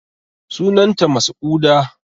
Sunan ta masa'uda